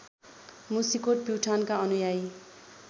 मुसिकोट प्युठानका अनुयायी